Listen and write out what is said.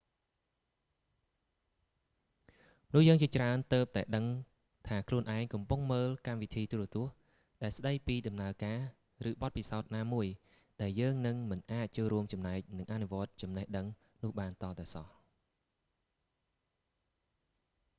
មនុស្សយើងជាច្រើនទើបតែដឹងថាខ្លួនឯងកំពុងមើលកម្មវិធីទូរទស្សន៍ដែលស្តីពីដំណើរការ ឬ បទពិសោធន៍ណាមួយ ដែលយើងនឹងមិនអាចចូលរួមចំណែក និងអនុវត្តចំណេះដឹងនោះបានទាល់តែសោះ